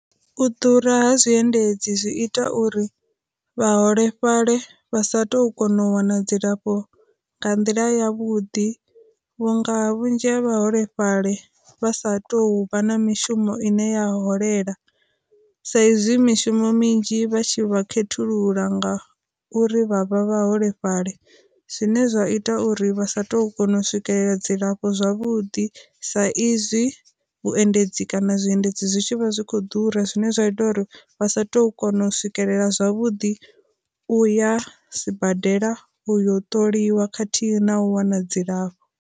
U ḓura ha zwi endedzi zwi ita uri vha holefhali vha sa tu kona u wana dzilafho nga nḓila ya vhuḓi vhunga vhunzhi ha vha holefhali vha sa tou vha na mishumo ine ya holela, sa izwi mishumo minzhi vha tshi vha khethulula nga uri vhavha vha holefhali, zwine zwa ita uri vha sa tu kona u swikelela dzilafho zwavhuḓi sa izwi vhu endedzi kana zwi endedzi zwitshi vha zwi kho ḓura zwine zwa ita uri vha sa tu kona u swikelela zwavhuḓi uya sibadela uyo ṱoliwa khathihi na u wana dzilafho.